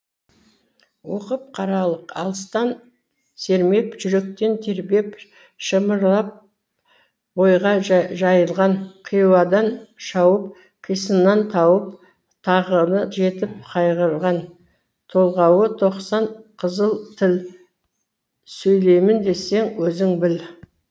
оқып қаралық алыстан сермеп жүректен тербеп шымырлап бойға жайылған қиуадан шауып қисынын тауып тағыны жетіп қайғырған толғауы тоқсан қызыл тіл сөйлеймін десең өзің біл